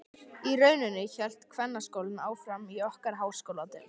Í rauninni hélt kvennaskólinn áfram í okkar háskóladeild.